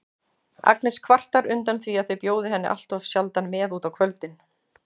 Agnes kvartar undan því að þau bjóði henni alltof sjaldan með út á kvöldin.